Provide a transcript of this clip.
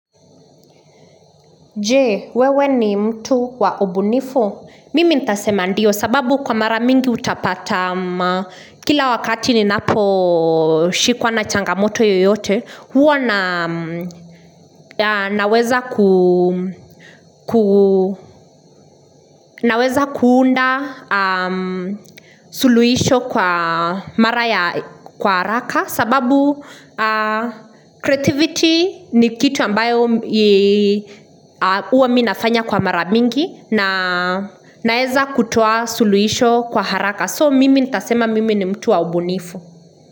Je, wewe ni mtu wa ubunifu? Mimi nitasema ndio sababu kwa mara mingi utapata kila wakati ninapo shikwa na changamoto yoyote, huwa naweza kuunda suluhisho kwa mara ya kwa haraka sababu creativity ni kitu ambayo huwa mimi nafanya kwa mara mingi Naweza kutoa suluhisho kwa haraka So mimi nitasema mimi ni mtu wa ubunifu.